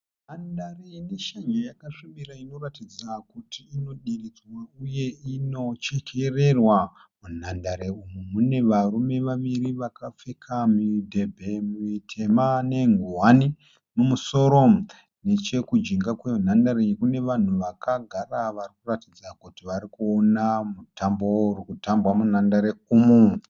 Nhandare ine shanje yakasvibira inoratidza kuti inodiridzwa uye inochekererwa. Munhandare umu mune varume vaviri vakapfeka mudhebhe mitema nenguwani mumusoro. Nechekujinga kwenhandare iyi kune vanhu vakagara vari kuratidza kuti vari kuona mutambo uri kutambwa munhandare umu.